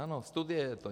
Ano, studie je to.